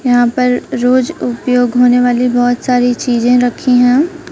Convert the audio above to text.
यहां पर रोज उपयोग होने वाली बहोत सारी चीजे रखी हैं।